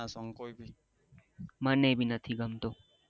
મને ભી નથી ગમતો